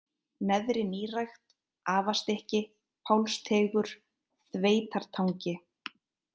Neðri-Nýrækt, Afastykki, Pálsteigur, Þveitartangi